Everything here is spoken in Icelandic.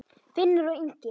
Finnur og Ingi.